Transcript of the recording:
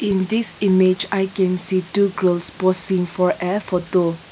this image i can see two girls posing for a photo.